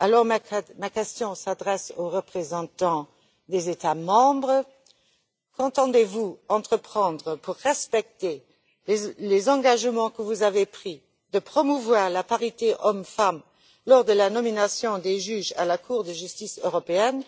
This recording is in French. En conséquence, ma question s'adresse aux représentants des États membres qu'entendez vous entreprendre pour respecter les engagements que vous avez pris de promouvoir la parité hommes femmes lors de la nomination des juges à la Cour de justice européenne?